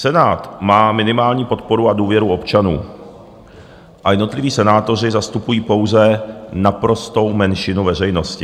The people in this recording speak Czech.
Senát má minimální podporu a důvěru občanů a jednotliví senátoři zastupují pouze naprostou menšinu veřejnosti.